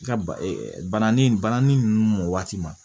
Nka bananin bananni nunnu mɔ waati ma